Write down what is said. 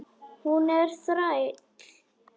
Hún er þræll.